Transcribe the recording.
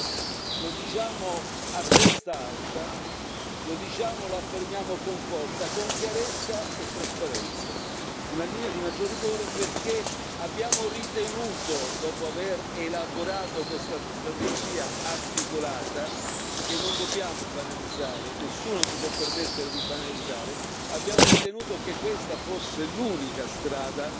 Certo, lo diciamo a testa alta, lo diciamo e lo affermiamo con forza, con chiarezza e trasparenza una linea di maggior rigore perché abbiamo ritenuto, dopo aver elaborato questa strategia articolata, che non dobbiamo banalizzare, nessuno si può permettere di banalizzare, abbiamo ritenuto che questa fosse l'unica strada